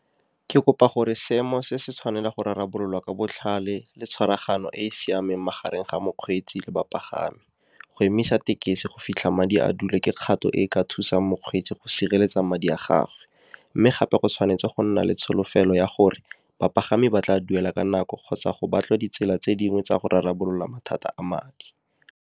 Ke kopa gore seemo se se tshwanela go rarabololwa ka botlhale le tshwaragano e e siameng magareng ga mokgweetsi le bapagami. Go emisa tekesi go fitlha madi a dule ke kgato e ka thusa mokgweetsi go sireletsa madi a gagwe. Mme gape, go tshwanetse go nna le tsholofelo ya gore bapagami ba tla duela ka nako, kgotsa go batlwe ditsela tse dingwe tsa go rarabolola mathata a madi.